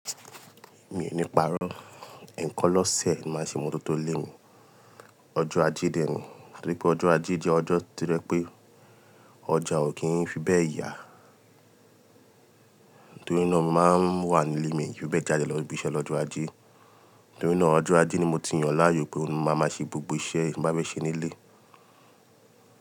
Mi ò ní parọ́. Ẹ̀ẹ̀kan lọ́sẹ̀ ni màá n ṣe imọ́tọ́tó ilé mi. Ọjọ́ Ajé dè é ni. Torí pé ọjọ́ Ajé jẹ́ ọjọ́ tí o jẹ pé ọjà ò kí n fi bẹ́ẹ̀ yà. Nítorí náà mo máa ń wà nílé mi i fi bẹ́ẹ̀ jáde lọ ibi iṣẹ́ lọ́jọ́ Ajé. Nítorí náà ọjọ́ Ajé ni mo ti yàn láàyò pé mo maa máa ṣe gbogbo iṣẹ́ mo bá fẹ́ ṣe nílé.